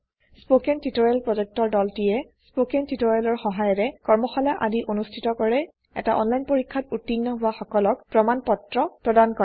spoken tutorial প্ৰকল্পৰ দলটিয়েস্পকেন টিওটৰিয়েলৰ সহায়েৰে কৰ্মশালা আদি অনুষ্ঠিত কৰে এটা অনলাইন পৰীক্ষাত উত্তীৰ্ণ হোৱা সকলক প্ৰমাণ পত্ৰ প্ৰদান কৰে